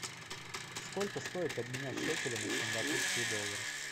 сколько стоит обменять шекели на сингапурские доллары